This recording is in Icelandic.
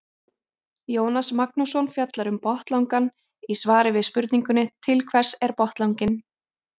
Jónas Magnússon fjallar um botnlangann í svari við spurningunni Til hvers er botnlanginn?